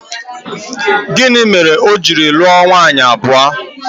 Gịnị mere o ji lụọ nwunye abụọ?